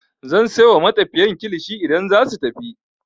Zan sai wa matafiyan kilishi idan zasu tafi.